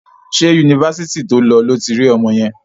Ṣé Yunifásitì to lọ lo ti rí ọmọ yẹn?